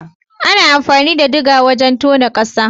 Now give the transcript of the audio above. Ana amfani da digger wajen tona ƙasa.